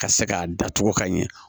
Ka se k'a datugu ka ɲɛ